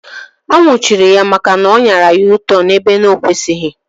A nnwuchiri ya maka na ọ anyara U-tọn ebe ọ na-ekwesịghị